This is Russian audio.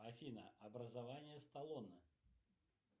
афина образование сталлоне